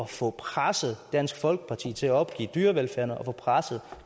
få presset dansk folkeparti til at opgive dyrevelfærden og få presset